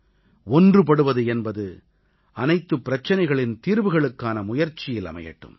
ஒன்றுபடுவது என்பது அனைத்துப் பிரச்சனைகளின் தீர்வுகளுக்கான முயற்சியில் அமையட்டும்